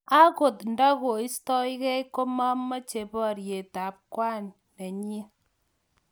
Angot ndakikoistokei komameche boryet ak kwan nenyi.